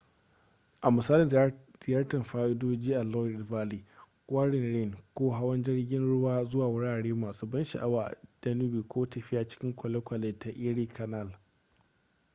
a misali ziyartar fadoji a loire valley kwarin rhine ko hawan jirgin ruwa zuwa wurare masu ban sha'awa a danube ko tafiya cikin kwalekwale ta erie canal